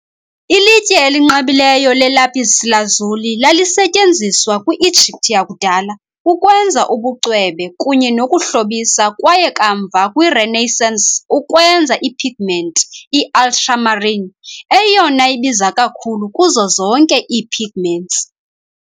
Ilitye elinqabileyo le-lapis lazuli lalisetyenziswa kwi-Egypt yakudala ukwenza ubucwebe kunye nokuhlobisa kwaye kamva, kwi-Renaissance, ukwenza i-pigment i-ultramarine, eyona ibiza kakhulu kuzo zonke ii-pigments.